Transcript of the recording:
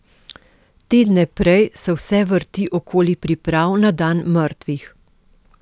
Tedne prej se vse vrti okoli priprav na dan mrtvih.